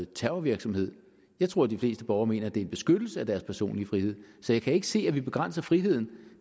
terrorvirksomhed jeg tror de fleste borgere mener at det er en beskyttelse af deres personlige frihed så jeg kan ikke se at vi begrænser friheden